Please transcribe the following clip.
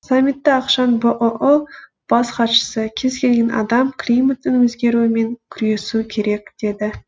самитті ақшан бұұ бас хатшысы кез келген адам климаттың өзгеруімен күресу керек деді